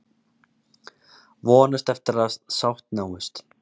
Vonast eftir að sátt náist